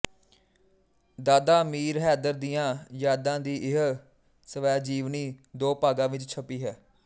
ਦਾਦਾ ਅਮੀਰ ਹੈਦਰ ਦੀਆਂ ਯਾਦਾਂ ਦੀ ਇਹ ਸਵੈਜੀਵਨੀ ਦੋ ਭਾਗਾਂ ਵਿੱਚ ਛਪੀ ਹੈ